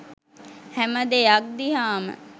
හැම දෙයක් දිහාම